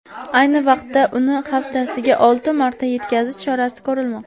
Ayni vaqtda uni haftasiga olti martaga yetkazish chorasi ko‘rilmoqda.